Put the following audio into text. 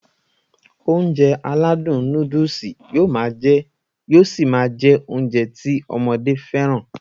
Ounjẹ aládùn nóódùsì yóó ṣi máá jẹ́ Ounjẹ ti ọmọdé fẹ́ràn